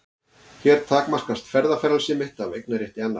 Hér takmarkast ferðafrelsi mitt af eignarétti annars.